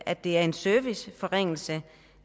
at det er en serviceforringelse